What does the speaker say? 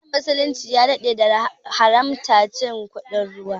Addinin muslunci ya daɗe da haramta cin kuɗin ruwa